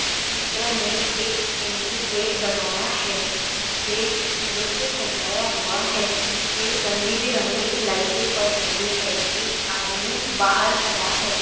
चित्र मे एक एंट्री गेट बनाया है जिसे फूलों से सजाया हुआ है जिसपे रंगी-बिरंगे लाइटे पड़ रही है एक आदमी बाहर खड़ा है।